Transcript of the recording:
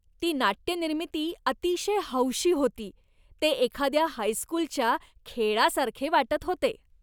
ती नाट्यनिर्मिती अतिशय हौशी होती. ते एखाद्या हायस्कूलच्या खेळासारखे वाटत होते.